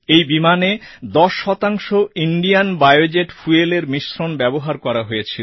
এই বিমানে 10 শতাংশ ইন্ডিয়ান বায়োজেট fuelএর মিশ্রণ ব্যবহার করা হয়েছিল